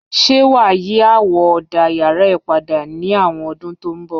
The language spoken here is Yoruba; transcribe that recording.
Ṣe wà á yí àwọ̀ ọ̀dà yàrá ẹ padà ní àwọn ọdún tó ń bọ̀?